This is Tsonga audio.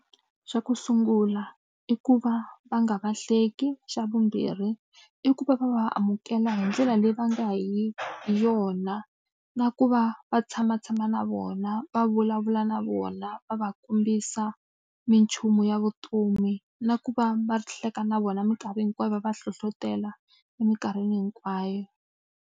Xa ku sungula i ku va va nga lahleki. Xa vumbirhi i ku va va va amukela hi ndlela leyi va nga hi hi yona na ku va va tshamatshama na vona, va vulavula na vona, va va kombisa minchumu ya vutomi. Na ku va va hleka na vona minkarhi hinkwayo, va va hlohletela eminkarhini hinkwayo.